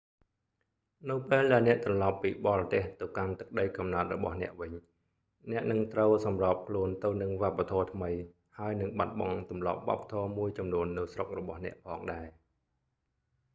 នៅពេលដែលអ្នកត្រឡប់ពីបរទេសទៅកាន់ទឹកដីកំណើតរបស់អ្នកវិញ អ្នកនឹងត្រូវសម្របខ្លួនទៅនិងវប្បធម៌ថ្មី ហើយនឹងបាត់បង់ទម្លាប់វប្បធម៌មួយចំនួននៅស្រុករបស់អ្នកផងដែរ